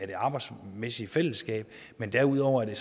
det arbejdsmæssige fællesskab men derudover er det